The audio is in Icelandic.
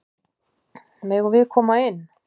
Megum við koma inn?